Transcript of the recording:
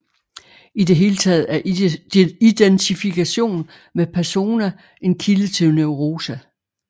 I det hele taget er identifikation med persona en kilde til neuroser